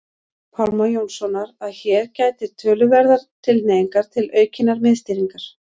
Pálma Jónssonar að hér gætir töluverðrar tilhneigingar til aukinnar miðstýringar.